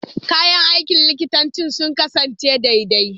Kayan aikin likitanci sun kasance daidai.